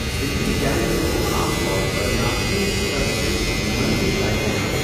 دلی gang کو عام طور پر ناقدین کی طرف سے منفی جائزے ملے۔